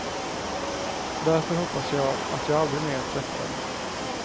Därför hoppas jag att jag aldrig mer träffar dem.